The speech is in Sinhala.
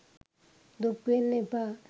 දුක් වෙන්න එපා